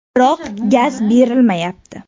Biroq gaz berilmayapti.